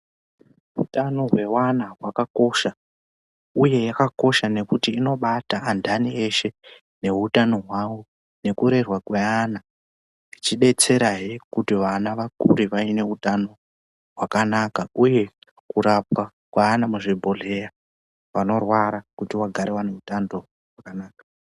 Utano hweana hwakakosha, uye yakakosha ngekuti unobata andani eshe neutano hwavo nekurerwa kweana, ichibetserahwe kuti vana vakure vaine utano hwakanaka, uye kurapwa kweana muzvibhedhlera vanorwara kuti vagare vane hutano hwakanaka.